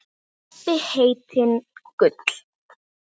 Stebbi heitinn Gull.